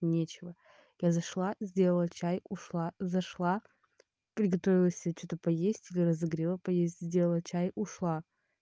нечего я зашла сделала чай ушла зашла приготовила себе что-то поесть или разогрела поесть сделала чай ушла